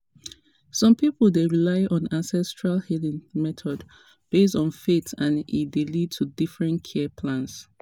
some people dey rely on ancestral healing methods based on faith and e dey lead to different care plans.